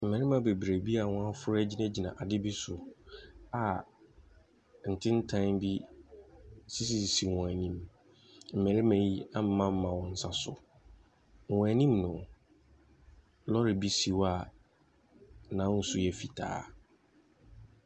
Mmarima bebree bi a wɔaforo agyinagyina ade bi so a ntenten bi sisisisi wɔn anim. Mmarima yi amemamema wɔn nsa so. Wɔn anim no, lɔɔre bi si hɔ a n'ahosu yɛ fitaa.